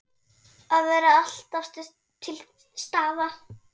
Að vera alltaf til staðar.